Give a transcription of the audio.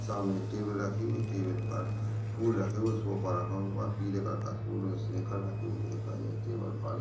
सामने एक टेबल रखी हुई टेबल पर फूल रखे हुए सोफा रखा हुआ पिले कलर का फूल और स्नेकर रखे हुए दिखाई दे टेबल काले--